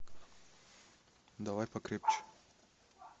давай покрепче